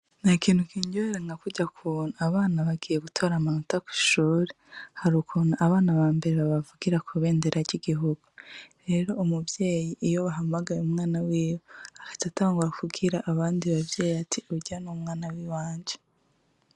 Na kintu kindyoheranka kurya kubuntu abana bagiye gutbara amanota kw'ishuri, hari ukuntu abana ba mbere babavugira ku bendera ry'igihugu rero umuvyeyi iyo bahamagaye umwana wiwo akazi atangura kubwira abandi bavyeye ati urya n'umwana wiwanje.